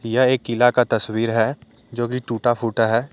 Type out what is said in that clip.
यह एक किला का तस्वीर है जोकि टूटा-फूटा है।